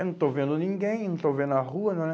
Eu não estou vendo ninguém, não estou vendo a rua. Não